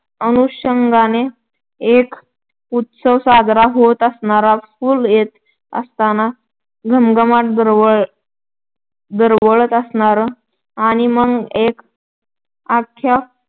अनुषंगानं एक उत्सव साजरा होत असणार. फुलं येत असणार. घमघमाट दरवळत असणार आणि मग एक आख्खा